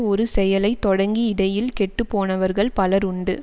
ஒரு செயலை தொடங்கி இடையில் கெட்டு போனவர்கள் பலர் உண்டு